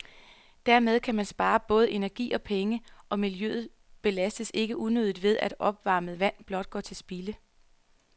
Dermed kan man spare både energi og penge, og miljøet belastes ikke unødigt ved, at opvarmet vand blot går til spilde.